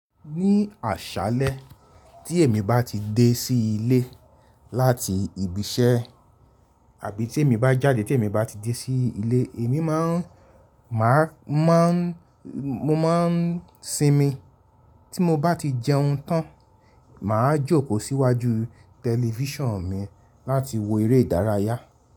Ní àṣálẹ́ tí èmi bá ti dé sí ilé láti ibi iṣẹ́ àbí tí èmi bá jáde tí èmi bá ti dé sí ilé, èmi má ń, máa ń, mo má ń sinmi. Tí mo bá ti jẹun tán, màá jókòó síwájú tẹlifíṣàn mi láti wo eré ìdárayá.